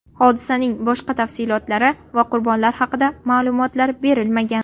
Hodisaning boshqa tafsilotlari va qurbonlar haqida ma’lumot berilmagan.